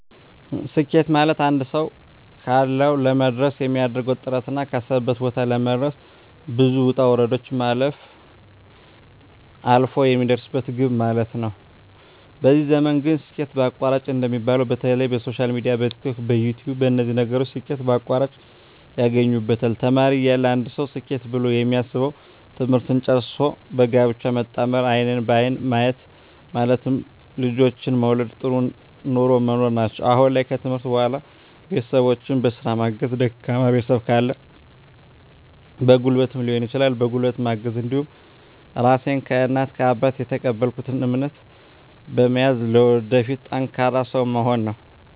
ስኬት ማለትአንድ ሰዉ ካሰዉ ለመድረስ የሚያደርገዉ ጥረትና ካሰበበት ቦታ ለመድረስ ብዙ ዉጣ ዉረዶችን ማለፍ አልፍ የሚደርስበት ግብ ማለት ነዉ በዚህ ዘመን ግን ስኬት በአቋራጭ እንደሚባለዉ በተለይ በሶሻል ሚድያ በቲክቶክ በዩትዩብ በነዚህ ነገሮች ስኬት በአቋራጭ ያገኙበታል ተማሪ እያለ አንድ ሰዉ ስኬት ብሎ የሚያስበዉ ትምህርትን ጨርሶ በጋብቻ መጣመርና አይንን በአይን ማየት ማለትም ልጆችን መዉለድ ጥሩ ኑሮ መኖር ናቸዉ አሁን ላይ ከትምህርት በኋላ ቤተሰቦቸን በስራ ማገዝ ደካማ ቤተሰብ ካለ በጉልበትም ሊሆን ይችላል በጉልበት ማገዝ እንዲሁም ራሴን ከእናት ከአባት የተቀበልኩትን እምነት በመያዝ ለወደፊት ጠንካራ ሰዉ መሆን ነዉ